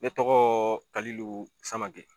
Ne tɔgɔ Kalilu Samake.